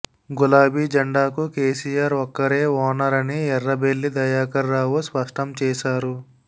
గులాబీ జెండాకు కేసీఆర్ ఒక్కరే ఓనర్ అని ఎర్రబెల్లి దయాకర్ రావు స్పష్టం చేశారు